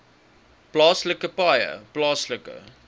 plaaslike paaie plaaslike